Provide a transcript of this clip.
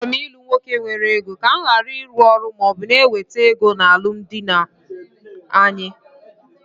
Achọrọ m ilu nwoke nwere ego, ka mụ gharị ịrụ ọrụ maọbụ na ewete ego na alụmdi anyị